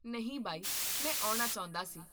ਨਹੀਂ ਬਾਈ, ਮੈਂ ਆਉਣਾ ਚਾਹੁੰਦਾ ਸੀ